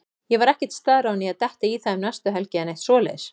Ég var ekkert staðráðinn í að detta í það um næstu helgi eða neitt svoleiðis.